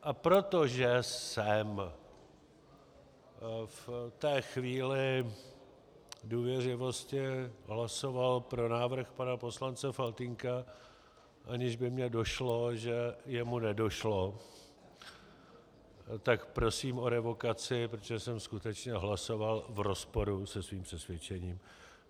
A protože jsem v té chvíli důvěřivosti hlasoval pro návrh pana poslance Faltýnka, aniž by mi došlo, že jemu nedošlo, tak prosím o revokaci, protože jsem skutečně hlasoval v rozporu se svým přesvědčením.